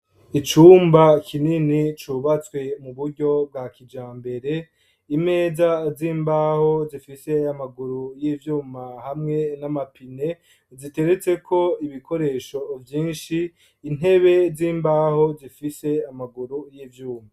Icumba kinini cubatswe mu buryo bwa kijambere imeza z'imbaho zifise amaguru y'ivyuma hamwe n'amapine ziteretseko ibikoresho vyinshi intebe z'imbaho zifise amaguru y'ivyuma.